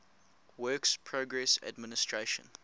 works progress administration